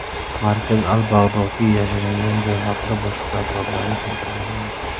Markaz al-Bag‘dodiy yashiringan joy haqida boshqa tafsilotlarni keltirmagan.